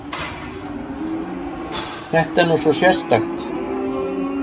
Þetta er nú svo sérstakt!